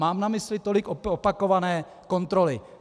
Mám na mysli tolik opakované kontroly.